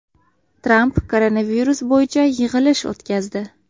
Tramp koronavirus bo‘yicha yig‘ilish o‘tkazdi.